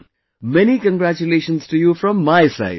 Fine... many congratulations to you from my side